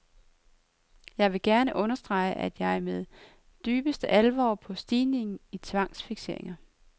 Jeg vil gerne understrege, at jeg ser med dybeste alvor på stigningen i tvangsfikseringer.